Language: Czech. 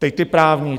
Teď ty právní.